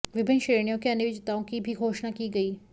विभिन्न श्रेणियों के अन्य विजेताओं की भी घोषणा की गई